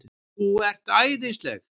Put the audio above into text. ÞÚ ERT ÆÐISLEG!